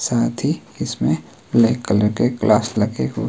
साथ ही इसमें ब्लैक कलर के ग्लास लगे हुए--